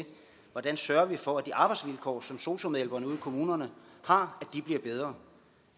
at sørge for at de arbejdsvilkår som sosu medhjælperne ude i kommunerne har bliver bedre